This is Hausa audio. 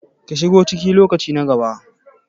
ka shigo ciki lokaci na gaba